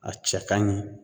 A cɛ ka ɲi